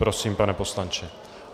Prosím, pane poslanče.